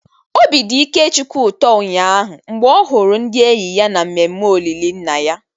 Obi dị Ikechukwu ụtọ ụnyaahụ, mgbe ọ hụrụ ndị enyi ya na mmemme olili nna ya.